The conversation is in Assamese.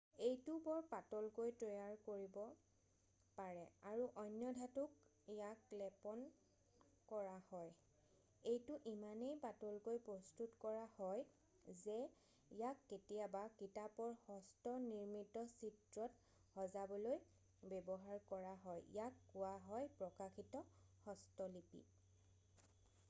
"এইটো বৰ পাতলকৈ তৈয়াৰ কৰিব পাৰে আৰু অন্য ধাতুত ইয়াক লেপন কৰা হয়। এইটো ইমানেই পাতলকৈ প্ৰস্তুত কৰা হয় যে ইয়াক কেতিয়াবা কিতাপৰ হস্ত-নিৰ্মিত চিত্ৰত সজাবলৈ ব্যৱহাৰ কৰা হয় ইয়াক কোৱা হয় "প্ৰকাশিত হস্তলিপি""।""